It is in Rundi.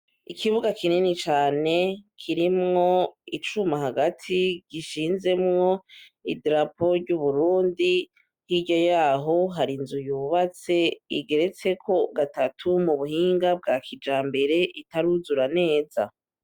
Ikibuga kinini cane kirimwo icuma hagati gishinzemwo idarapo ryuburundi hirya yaho hari inzu yubatse igeretseko gatatu mubuhinga bwa kijambere itaruzura neza.